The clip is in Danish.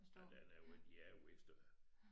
Ja den er jo ikke de er jo ikke større